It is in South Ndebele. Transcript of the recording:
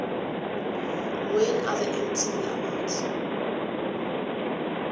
when are the mtv awards